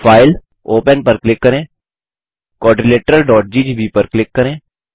file open पर click करें quadrilateralजीजीबी पर क्लिक करें